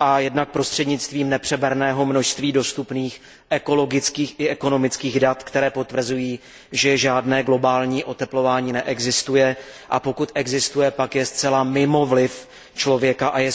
a jednak prostřednictvím nepřeberného množství dostupných ekologických i ekonomických dat, která potvrzují, že žádné globální oteplování neexistuje, a pokud existuje, pak je zcela mimo vliv člověka a je způsobeno čistě přírodními silami.